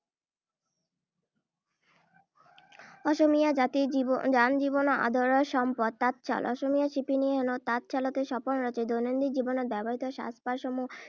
অসমীয়া জাতিৰ জনজীৱনৰ আদৰৰ সম্পদ তাঁতশাল। অসমীয়া শিপিনীয়ে হেনো তাঁত শালতে সপোন ৰচে। দৈনন্দিন জীৱনত ব্যৱহৃত সাজ-পাৰসমূহ